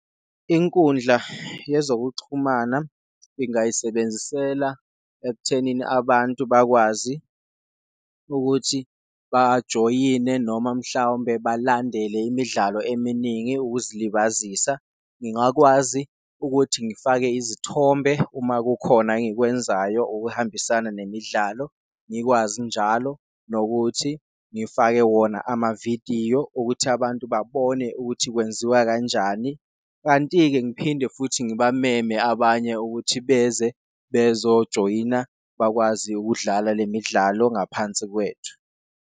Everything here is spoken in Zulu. Inkundla yezokuxhumana ngingayisebenzisela ekuthenini abantu bakwazi ukuthi bajoyine noma mhlawumbe balandele imidlalo eminingi ukuzilibazisa. Ngingakwazi ukuthi ngifake izithombe uma kukhona engikwenzayo okuhambisana nemidlalo, ngikwazi njalo nokuthi ngifake wona amavidiyo okuthi abantu babone ukuthi kwenziwa kanjani. Kanti-ke ngiphinde futhi ngibameme abanye ukuthi beze bezojoyina, bakwazi ukudlala le midlalo ngaphansi kwethu.